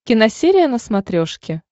киносерия на смотрешке